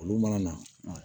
Olu mana na